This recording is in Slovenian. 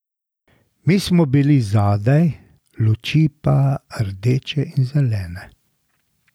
Mi smo bili zadaj, luči pa rdeče in zelene.